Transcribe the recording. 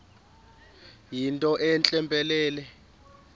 yinto entle mpelele